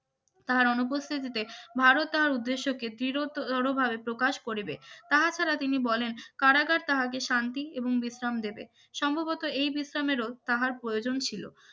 তাহার অনুপস্থিতিতে ভারত তাহার উদ্দেশ্যকে দীর্ঘতরভাবে প্রকাশ করিবে তাহা ছাড়া তিনি বলেন কারাকার তাহাকে শান্তি এবং বিশ্রাম দেবে সম্ভবত এই বিশ্রামের তাহার প্রয়োজন ছিল